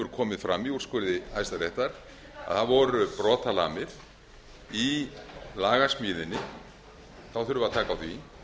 komið fram í úrskurði hæstaréttar að það voru brotalamir í lagasmíðinni þá þurfum við að taka á því